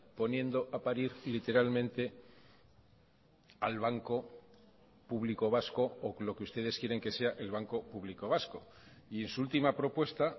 poniendo a parir literalmente al banco público vasco o lo que ustedes quieren que sea el banco público vasco y en su última propuesta